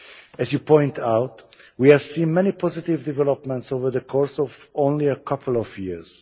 As you point out, we have seen many positive developments over the course of only a couple of years.